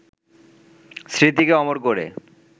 স্মৃতিকে অমর করে